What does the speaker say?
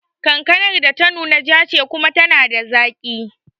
Kankanar da ta nuna ja ce kuma tana da zaki